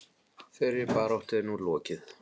Þeirri baráttu er nú lokið.